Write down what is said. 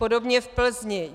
Podobně v Plzni.